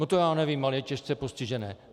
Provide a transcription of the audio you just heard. No to já nevím, ale je těžce postižené.